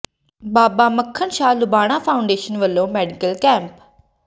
ਬਾਬਾ Makhan Shah Lubana foundation ਵੱਲੋਂ medical camp